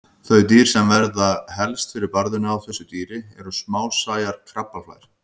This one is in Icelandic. Þau dýr sem verða helst fyrir barðinu á þessu dýri eru smásæjar krabbaflær.